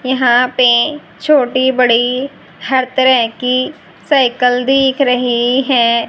यहां पे छोटी बड़ी हर तरह की साइकल दिख रही है।